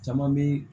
Caman be